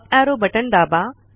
up arrow button दाबा